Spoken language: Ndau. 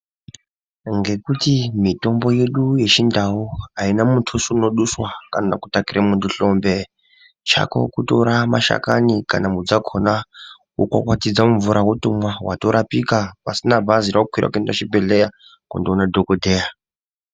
Ngekuti mitombo yedu yechindau ainamutuso unodhuswa kana kutakire hlombe. Chako kutora mashakani kana mudzi dzakona wokwakwatidza mumvura wotomwa watorapika pasina bhazi rakwira kuenda kuchibhedhlera kundoona dhokodheya.